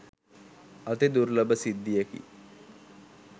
අති දුර්ලභ සිද්ධියකි.